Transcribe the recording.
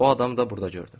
O adamı da burada gördüm.